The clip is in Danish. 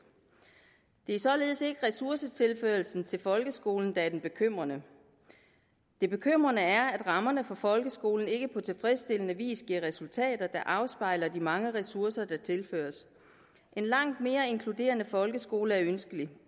det er således ikke ressourcetilførsel til folkeskolen der er bekymrende det bekymrende er at rammerne for folkeskolen ikke på tilfredsstillende vis giver resultater der afspejler de mange ressourcer der tilføres en langt mere inkluderende folkeskole er ønskelig